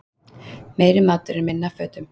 Meiri matur en minna af fötum